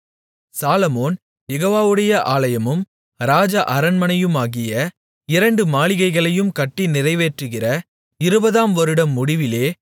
சாலொமோன் யெகோவாவுடைய ஆலயமும் ராஜ அரண்மனையுமாகிய இரண்டு மாளிகைகளையும் கட்டி நிறைவேற்றுகிற 20 ஆம் வருடம் முடிவிலே